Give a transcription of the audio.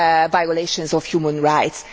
violations of human rights.